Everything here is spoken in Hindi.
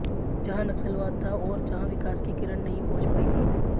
जहां नक्सलवाद था और जहां विकास की किरण नहीं पहुंच पायी थी